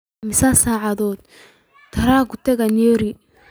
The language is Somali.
Immisa saac ayuu tareenku taga Nyeri?